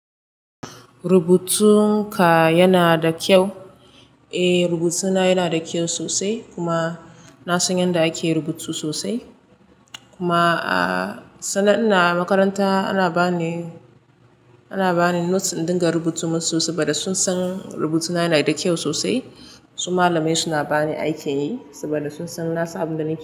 Rubutun ka yana da kyau? Eh, rubutuna yana da kyau sosai kuma na san yadda ake rubutu sosai. Kuma sanda ina makaranta ana bani, ana bani note in dinga rubutu masu sosai saboda sun san rubutuna yana da kyau sosai. Su malamai suna bani aikin yi saboda sun san na san abun da nake yi.